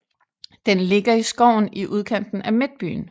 Den ligger i skoven i udkanten af Midtbyen